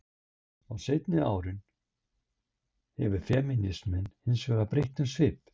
Á seinni árum hefur femínisminn hins vegar breytt um svip.